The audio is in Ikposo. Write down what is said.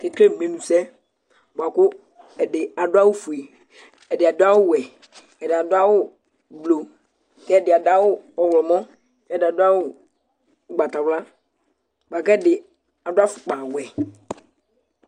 ɔkekele menu sɛ bʋa ku ɛdi adu awu fue, ɛdi adu awu wɛ, ɛdi adu awu blu, ku ɛdi adu awu ɔwlɔmɔ, ku ɛdi adu awu ugbata wla bʋa ku ɛdi adu afukpa wɛ